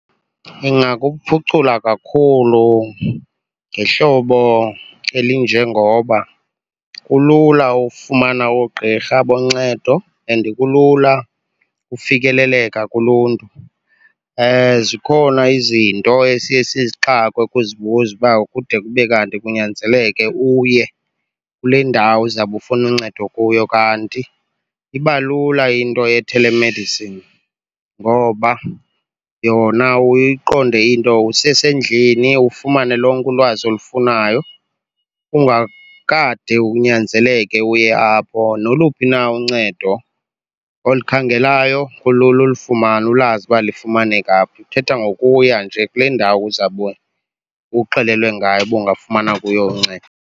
Ingakuphucula kakhulu ngehlobo elinjengoba kulula ufumana oogqirha boncedo and kulula ufikeleleka kuluntu. Zikhona izinto esiye sixakwe ukuzibuza uba kude kube kanti kunyanzeleke uye kule ndawo uzawube ufuna uncedo kuyo, kanti iba lula into ye-telemedicine ngoba yona uye uyiqonde into usesendlini, ufumane lonke ulwazi olufunayo ungakade unyanzeleke uye apho. Noluphi na uncedo olukhangelayo kulula ulifumana ulazi uba lifumaneka phi, uthetha ngokuya nje kule ndawo uzabe uxelelwe ngayo uba ungafumana kuyo uncedo.